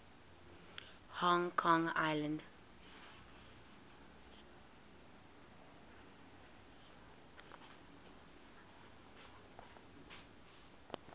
hong kong island